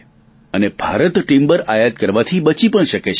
અને ભારત ટીમ્બર આયાત કરવાથી બચી પણ શકે છે